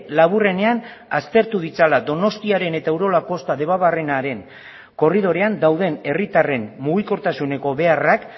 laburrenean aztertu ditzala donostiaren eta urola kosta debabarrenaren korridorean dauden herritarren mugikortasuneko beharrak